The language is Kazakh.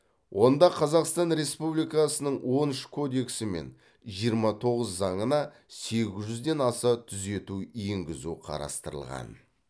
онда қазақстан республикасының он үш кодексі мен жиырма тоғыз заңына сегіз жүзден аса түзету енгізу қарастырылған